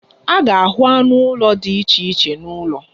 A ga-ahụ anụ ụlọ dị iche iche n'ụlọ.